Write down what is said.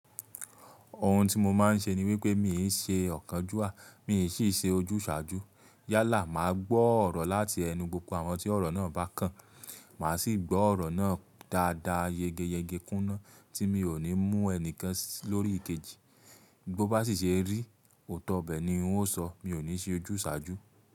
Ohun tí mo máa ń ṣe ni wípé mi n ṣe ọ̀kánjúà, mi n sì ṣe ojúsàájú. Yálà máa gbọ́ ọ̀rọ̀ láti ẹnu gbogbo àwọn tí ọ̀rọ̀ náà bá kàn. Máa sì gbọ́ ọ̀rọ̀ náà dáadáa, yegeyege kúná tí mi ò ní mú ẹnìkan lórí kejì. Bí ó bá sì ṣe rí, òótọ́ ibẹ̀ ni wọn o sọ̀, mi ò ní ṣe ojúsàájú.